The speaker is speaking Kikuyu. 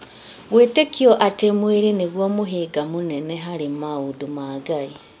Gwĩtĩkĩtio atĩ mwĩrĩ nĩguo mũhĩnga mũnene harĩ maũndũ ma Ngai